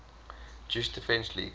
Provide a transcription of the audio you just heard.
jewish defense league